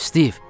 Stiv!